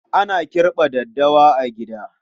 Ana kirɓa daddawa a gida.